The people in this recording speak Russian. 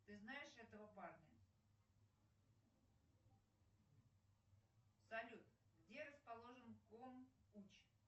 ты знаешь этого парня салют где расположен ком уч